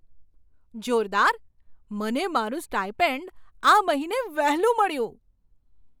જોરદાર! મને મારું સ્ટાઇપેન્ડ આ મહિને વહેલું મળ્યું!